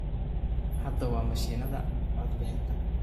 Hadda waa mashiinada codbixinta.